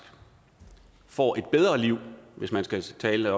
får et bedre liv hvis man skal skal